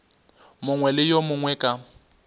mongwe le yo mongwe ka